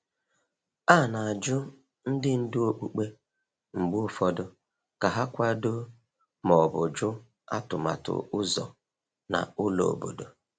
A na-ajụ ndị ndu okpukpe mgbe ụfọdụ ka ha kwado ma ọ bụ jụ atụmatụ ụzọ na ụlọ obodo.